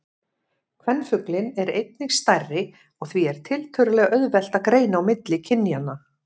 Kvenfuglinn er einnig stærri og því er tiltölulega auðvelt að greina á milli kynjanna.